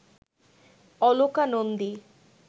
Aloka Nandi